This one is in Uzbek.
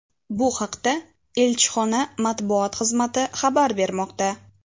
Bu haqda elchixona matbuot xizmati xabar bermoqda .